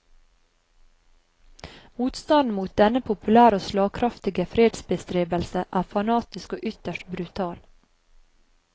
Motstanden mot denne populære og slagkraftige fredsbestrebelse er fanatisk og ytterst brutal.